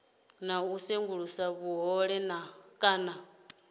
na u sengulusa vhuhole kana